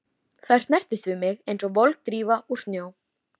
Þær snertust við mig einsog volg drífa úr snjó.